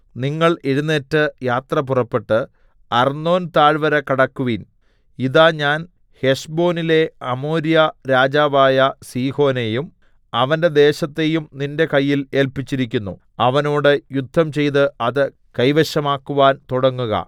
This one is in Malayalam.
നിങ്ങൾ എഴുന്നേറ്റ് യാത്ര പുറപ്പെട്ട് അർന്നോൻതാഴ്വര കടക്കുവിൻ ഇതാ ഞാൻ ഹെശ്ബോനിലെ അമോര്യ രാജാവായ സീഹോനെയും അവന്റെ ദേശത്തെയും നിന്റെ കയ്യിൽ ഏല്പിച്ചിരിക്കുന്നു അവനോട് യുദ്ധം ചെയ്ത് അത് കൈവശമാക്കുവാൻ തുടങ്ങുക